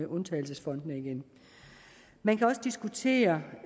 undtagelsesfondene igen man kan også diskutere